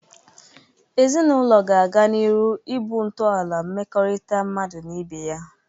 Ezinaụlọ ga-aga n'iru ịbụ ntọala mmekọrịta mmadu na ibe ya.